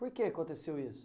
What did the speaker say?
Por que aconteceu isso?